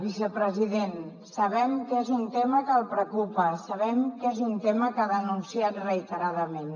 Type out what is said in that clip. vicepresident sabem que és un tema que li preocupa sabem que és un tema que ha denunciat reiteradament